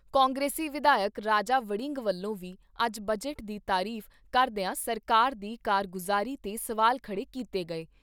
ਕਾਂਗਰਸੀ ਵਿਧਾਇਕ ਰਾਜਾ ਵੜਿੰਗ ਵੱਲੋਂ ਵੀ ਅੱਜ ਬਜਟ ਦੀ ਤਾਰੀਫ਼ ਕਰਦਿਆਂ ਸਰਕਾਰ ਦੀ ਕਾਰਗੁਜਾਰੀ 'ਤੇ ਸਵਾਲ ਖੜ੍ਹੇ ਕੀਤੇ ਗਏ।